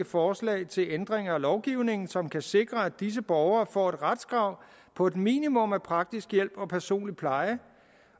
forslag til ændringer af lovgivningen som kan sikre at disse borgere får et retskrav på et minimum af praktisk hjælp og personlig pleje